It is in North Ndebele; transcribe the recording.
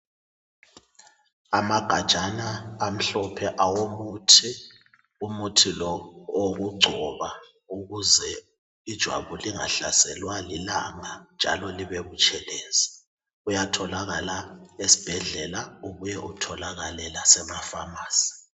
Amagatshana amhlophe awomuthi, umuthi lo owokugcoba ukuze ijabu lingahlaselwa lilalanga njalo libebutshelezi. Uyatholakala esibhedlela ubuye utholakale lasemafamasi.